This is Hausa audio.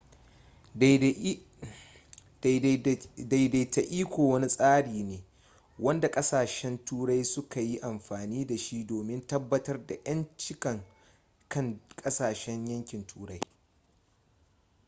daidaita iko wani tsari ne wanda kasashen turai suka yi amfani da shi domin tabbatar da ƴancinkan duk ƙasshen yankin turai